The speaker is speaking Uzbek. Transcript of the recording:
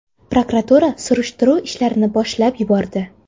Prokuratura surishtiruv ishlarini boshlab yubordi.